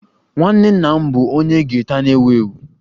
Nwanne nna m bụ onye gita na-ewu ewu